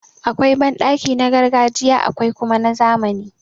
Akwai banɗaki na gargajiya akwai kuma na zamani.